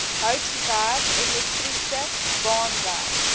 houtwerk elektriese baanwerk